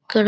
ఇక్కడ.